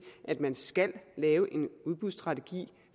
at man skal lave en udbudsstrategi